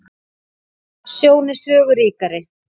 Sjón er sögu ríkari.